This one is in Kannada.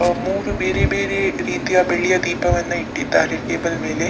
ಆ ಮೂರು ಬೇರೆ ಬೇರೆ ರೀತಿಯ ಬೆಳ್ಳಿಯ ದೀಪಗಳನ್ನ ಇಟ್ಟಿದ್ದಾರೆ ಟೇಬಲ್ ಮೇಲೆ.